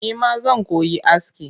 Nima zan koyi aski